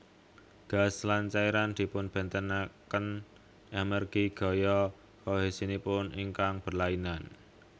Gas lan cairan dipunbénténakén amérgi gaya kohèsinipun ingkang berlainan